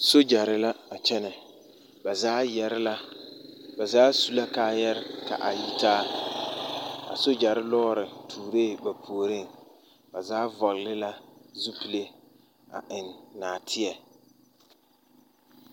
Soogyɛre la a kyɛnɛ ba zaa yɛre la ba zaa su la kaayarɛɛ ka a yitaa a soogyɛre lɔɔre tuuree ba puoriŋ ba zaa vɔgle la zupile a eŋ nɔɔteɛ.